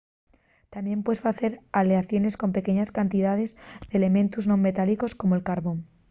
tamién puedes facer aleaciones con pequeñes cantidaes d'elementos non metálicos como'l carbón